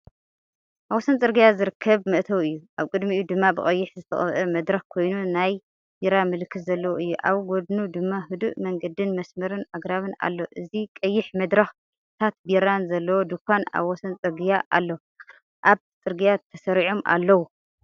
ኣብ ወሰን ጽርግያ ዝርከብ መእተዊ እዩ። ኣብ ቅድሚኡ ድማ ብቐይሕ ዝተቐብአ መድረኽ ኮይኑ ናይ ቢራ ምልክት ዘለዎ እዩ። ኣብ ጎድኑ ድማ ህዱእ መንገድን መስመር ኣግራብን ኣሎ። እዚ ቀይሕመድረኽን ምልክታት ቢራን ዘለዎ ድኳን ኣብ ወሰንጽርግያኣሎ፤ ኣግራብ ኣብ ጽርግያ ተሰሪዖም ኣለዉ።